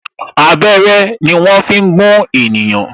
Abẹ́rẹ́ ni wọn fi ń gún ènìyàn